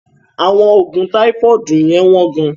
Àwọn oògùn táífọ́ọ̀dù yẹ́n wọ́n gán.